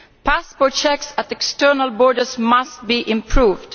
passport checks at external borders must be improved